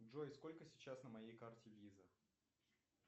джой сколько сейчас на моей карте виза